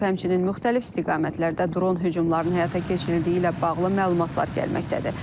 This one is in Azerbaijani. Həmçinin müxtəlif istiqamətlərdə dron hücumlarının həyata keçirildiyi ilə bağlı məlumatlar gəlməkdədir.